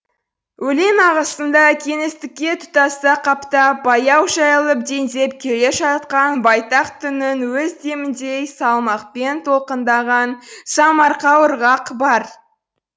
өлең ағысында кеңістікке тұтаса қаптап баяу жайылып дендеп келе жатқан байтақ түннің өз деміндей салмақпен толқындаған самарқау ырғақ бар